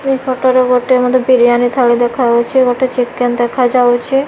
ଏପଟ ର ଗୋଟ ମଧ୍ୟ ବିରିୟାନି ଥାଳି ଦେଖା ଯାଉଛି ଗୋଟେ ଚିକେନ ଦେଖା ଯାଉଛି।